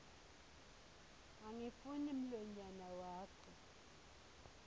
angifuni mlonyana wakho